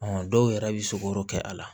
dɔw yɛrɛ bɛ sogo kɛ a la